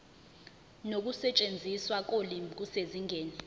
nokusetshenziswa kolimi kusezingeni